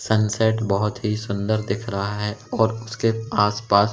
sunset बहुत ही सुंदर दिख रहा है और उसके आसपास--